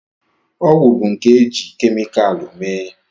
Ọgwụ bụ nke e jiri kemikalụ mee